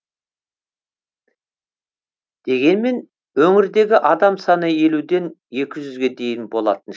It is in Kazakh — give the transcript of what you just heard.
дегенмен өңірдегі адам саны елуден екі жүзге дейін болатын